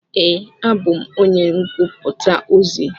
Ee, abú m onye ngụputa ozi.